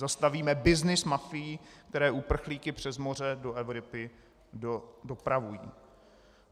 Zastavíme byznys mafií, které uprchlíky přes moře do Evropy dopravují.